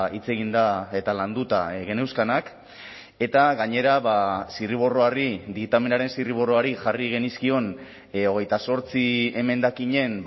hitz eginda eta landuta geneuzkanak eta gainera zirriborroari diktamenaren zirriborroari jarri genizkion hogeita zortzi emendakinen